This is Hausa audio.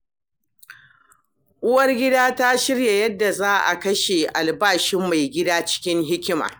Uwargida ta shirya yadda za a kashe albashin maigida cikin hikima.